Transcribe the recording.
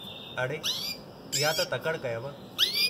अड़े, इहा त तकड़ि कयव!